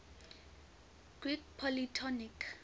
greek polytonic